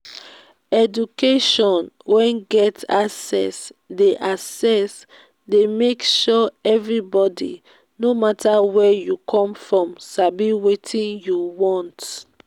education wey get access de access de make sure everybody no matter where you come from sabi wetin you want